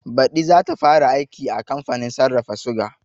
Baɗi zata fara aiki a kamfanin sarrafa suga